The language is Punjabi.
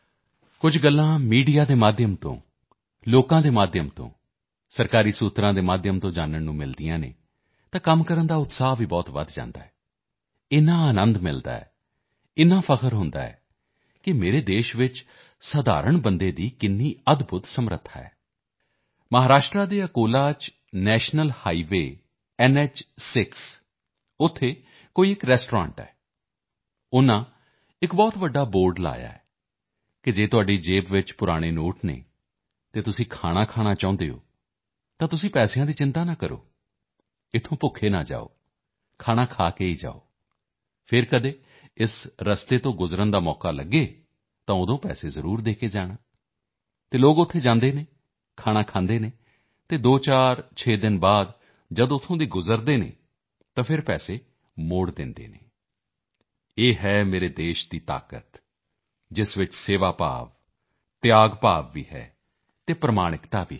ਕੁਝ ਗੱਲਾਂ ਮੀਡੀਆ ਦੇ ਮਾਧਿਅਮ ਨਾਲ ਲੋਕਾਂ ਦੇ ਮਾਧਿਅਮ ਨਾਲ ਸਰਕਾਰੀ ਸੂਤਰਾਂ ਦੇ ਮਾਧਿਅਮ ਨਾਲ ਜਾਨਣ ਨੂੰ ਮਿਲਦੀਆਂ ਹਨ ਤਾਂ ਕੰਮ ਕਰਨ ਦਾ ਉਤਸ਼ਾਹ ਵੀ ਬਹੁਤ ਵਧ ਜਾਂਦਾ ਹੈ ਇੰਨਾ ਆਨੰਦ ਹੁੰਦਾ ਹੈ ਇੰਨਾ ਮਾਣ ਹੁੰਦਾ ਹੈ ਕਿ ਮੇਰੇ ਦੇਸ਼ ਵਿੱਚ ਆਮ ਇਨਸਾਨ ਦੀ ਕੀ ਅਦਭੁੱਤ ਸਮਰੱਥਾ ਹੈ ਮਹਾਰਾਸ਼ਟਰ ਦੇ ਅਕੋਲਾ ਵਿੱਚ ਨੈਸ਼ਨਲ ਹਾਈਵੇਅ NO6 ਉੱਥੇ ਕੋਈ ਇੱਕ ਰੈਸਟੌਰੈਂਟ ਹੈ ਉਨ੍ਹਾਂ ਨੇ ਇੱਕ ਬਹੁਤ ਵੱਡਾ ਬੋਰਡ ਲਗਾਇਆ ਹੈ ਕਿ ਜੇਕਰ ਤੁਹਾਡੀ ਜੇਬ ਵਿੱਚ ਪੁਰਾਣੇ ਨੋਟ ਹਨ ਅਤੇ ਤੁਸੀਂ ਖਾਣਾ ਖਾਣਾ ਚਾਹੁੰਦੇ ਹੋ ਤਾਂ ਤੁਸੀਂ ਪੈਸੇ ਦੀ ਚਿੰਤਾ ਨਾ ਕਰੋ ਇੱਥੋਂ ਭੁੱਖੇ ਨਾ ਜਾਓ ਖਾਣਾ ਖਾ ਕੇ ਜਾਓ ਅਤੇ ਫਿਰ ਕਦੇ ਇਸ ਰਸਤੇ ਤੋਂ ਗੁਜ਼ਰਨ ਦਾ ਤੁਹਾਨੂੰ ਮੌਕਾ ਮਿਲੇ ਤਾਂ ਜ਼ਰੂਰ ਪੈਸੇ ਦੇ ਕੇ ਜਾਣਾ ਅਤੇ ਲੋਕ ਉੱਥੇ ਜਾਂਦੇ ਹਨ ਖਾਣਾ ਖਾਂਦੇ ਹਨ ਅਤੇ 246 ਦਿਨ ਤੋਂ ਬਾਅਦ ਜਦੋਂ ਉੱਥੋਂ ਫਿਰ ਤੋਂ ਲੰਘਦੇ ਹਨ ਤਾਂ ਫਿਰ ਪੈਸੇ ਵੀ ਦੇ ਦਿੰਦੇ ਹਨ ਇਹ ਹੈ ਮੇਰੇ ਦੇਸ਼ ਦੀ ਤਾਕਤ ਜਿਸ ਵਿੱਚ ਸੇਵਾ ਭਾਵ ਤਿਆਗ ਭਾਵ ਵੀ ਹੈ ਅਤੇ ਪ੍ਰਮਾਣਿਕਤਾ ਵੀ ਹੈ